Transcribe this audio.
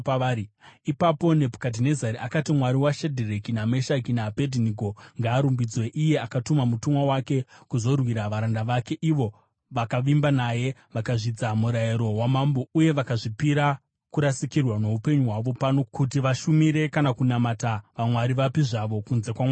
Ipapo Nebhukadhinezari akati, “Mwari waShadhireki naMeshaki naAbhedhinego ngaarumbidzwe, iye akatuma mutumwa wake kuzorwira varanda vake! Ivo vakavimba naye vakazvidza murayiro wamambo uye vakazvipira kurasikirwa noupenyu hwavo pano kuti vashumire kana kunamata vamwari vapi zvavo kunze kwaMwari wavo.